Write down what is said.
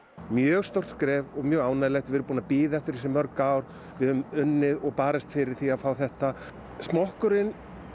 mjög stórt skref og mjög ánægjulegt við erum búin að bíða eftir þessu í mörg ár við höfum unnið og barist fyrir því að fá þetta smokkurinn